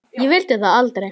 Ég vildi það aldrei.